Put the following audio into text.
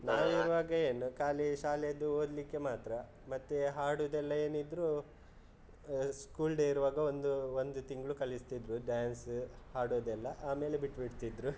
ನಾನು ಇರುವಾಗ ಏನು ಖಾಲಿ ಶಾಲೆದು ಓದ್ಲಿಕ್ಕೆ ಮಾತ್ರ, ಮತ್ತೆ ಹಾಡುದೆಲ್ಲ ಏನಿದ್ರು school day ಇರುವಾಗ ಒಂದು ಒಂದು ತಿಂಗ್ಳು ಕಲಿಸ್ತಿದ್ರು, dance ಹಾಡೋದೆಲ್ಲ ಆಮೇಲೆ ಬಿಟ್ಬಿಡ್ತಿದ್ರು.